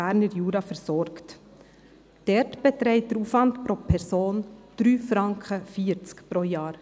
Dort beträgt der Aufwand pro Person 3,40 Franken pro Jahr.